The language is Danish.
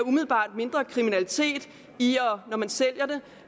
mindre kriminalitet når man sælger det